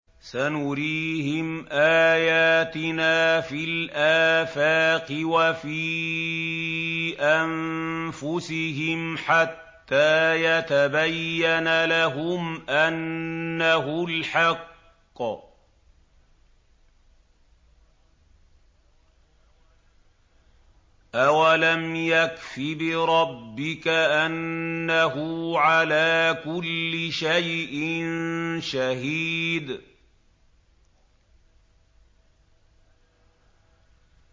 سَنُرِيهِمْ آيَاتِنَا فِي الْآفَاقِ وَفِي أَنفُسِهِمْ حَتَّىٰ يَتَبَيَّنَ لَهُمْ أَنَّهُ الْحَقُّ ۗ أَوَلَمْ يَكْفِ بِرَبِّكَ أَنَّهُ عَلَىٰ كُلِّ شَيْءٍ شَهِيدٌ